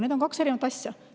Need on kaks erinevat asja.